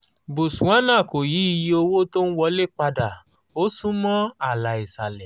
botswana kò yí iye owó tó ń wọlé padà ó sún mọ́ ààlà ìsàlẹ̀